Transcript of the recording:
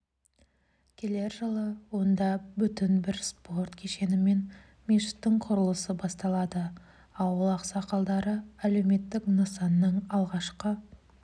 келер жылы онда бүтін бір спорт кешені мен мешіттің құрылысы басталады ауыл ақсақалдары әлеуметтік нысанның алғашқы